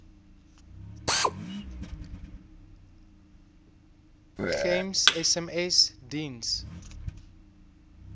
gems sms diens